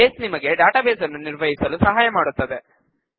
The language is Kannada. ಬೇಸ್ ನಿಮಗೆ ಡಾಟಾಬೇಸ್ ನ್ನು ನಿರ್ವಹಿಸಲು ಸಹಾಯ ಮಾಡುತ್ತದೆ